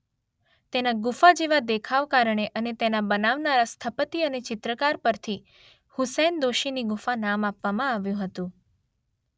તેના ગુફા જેવા દેખાવ કારણે અને તેને બનાવનારા સ્થપતિ અને ચિત્રકાર પરથી હુસૈન દોશીની ગુફા નામ આપવામાં આવ્યું હતું.